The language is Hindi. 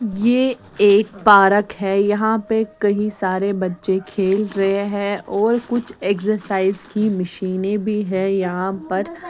ये एक पारक है यहाँ पे कही सारे बच्चे खेल रे हैं और कुछ एक्ससाइज की मशीनें भी हैं यहाँ पर --